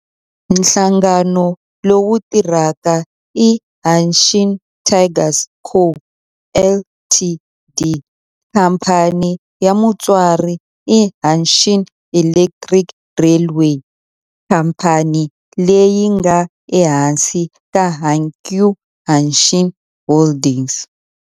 Nhlangano lowu tirhaka i Hanshin Tigers Co., Ltd. Khamphani ya mutswari i Hanshin Electric Railway, khamphani leyi nga ehansi ka Hankyu Hanshin Holdings.